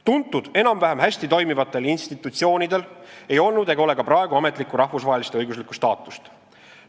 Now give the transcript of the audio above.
Tuntud enam-vähem hästi toimivatel institutsioonidel ei olnud ega ole ka praegu ametlikku rahvusvahelist õiguslikku staatust.